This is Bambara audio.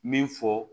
Min fɔ